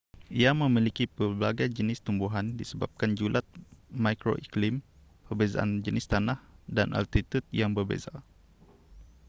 ia memiliki pelbagai jenis tumbuhan disebabkan julat mikroiklim perbezaan jenis tanah dan altitud yang berbeza